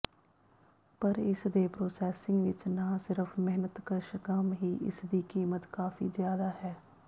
ਪਰ ਇਸਦੇ ਪ੍ਰੋਸੈਸਿੰਗ ਵਿੱਚ ਨਾ ਸਿਰਫ ਮਿਹਨਤਕਸ਼ ਕੰਮ ਹੀ ਇਸਦੀ ਕੀਮਤ ਕਾਫ਼ੀ ਜ਼ਿਆਦਾ ਹੈ